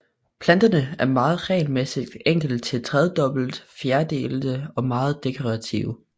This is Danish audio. Planterne er meget regelmæssigt enkelt til tredobbet fjerdelte og meget dekorative